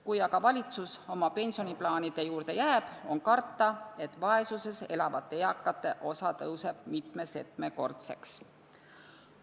Kui valitsus oma pensioniplaanide juurde jääb, on karta, et vaesuses elavate eakate osa kasvab mitme-setmekordseks.